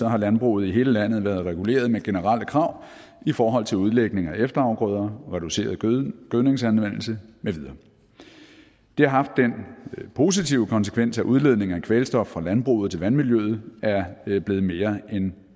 har landbruget i hele landet været reguleret med generelle krav i forhold til udlægning af efterafgrøder reduceret gødningsanvendelse med videre det har haft den positive konsekvens at udledning af kvælstof fra landbruget til vandmiljøet er blevet blevet mere end